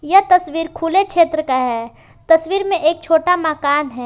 यह तस्वीर खुले क्षेत्र का है तस्वीर में एक छोटा मकान है।